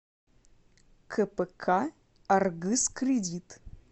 кпк аргыскредит